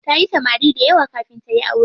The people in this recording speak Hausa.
Tayi samari dayawa kafin tayi aure.